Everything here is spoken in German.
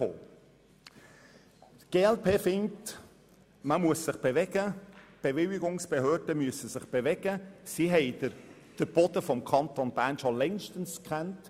Die glp findet, man müsse sich bewegen, die Bewilligungsbehörden müssten sich bewegen, denn sie haben den Boden des Kantons Bern schon längstens gescannt.